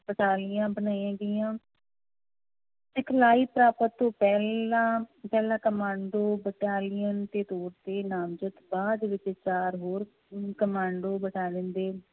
ਬਟਾਲੀਆਂ ਬਣਾਈਆਂ ਗਈਆਂ ਸਿਖਲਾਈ ਪ੍ਰਾਪਤ ਤੋਂ ਪਹਿਲਾਂ ਪਹਿਲਾਂ ਕਮਾਂਡੋ ਬਟਾਲੀਅਨ ਦੇ ਤੌਰ ਤੇ ਨਾਮਜ਼ਦ ਬਾਅਦ ਵਿੱਚ ਚਾਰ ਹੋਰ ਅਮ ਕਮਾਂਡੋ ਬਟਾਲੀਅਨ ਦੇ